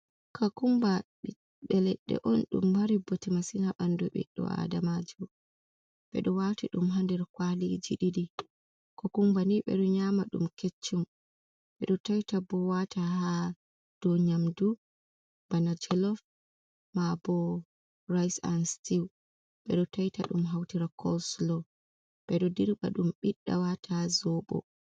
Kakumba ɓiɓɓe Leɗɗe on dum mari bote masin ha ɓandu ɓiɗɗo Adamajo. ɓe ɗo wati ɗum ha nder kwaliji ɗiɗi. Kakumba ni ɓeɗo nyama dum keccum ɓedo ta'ita bo wata ha dou nyamdu bana jolof ma bo rais an stu ɓeɗo ta'ita ɗum hautira colslow ɓedo dirɓa ɗum ɓiɗɗa wata ha Zobo.